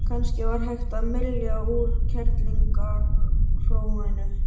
Kannski var hægt að mylja úr kerlingarhróinu?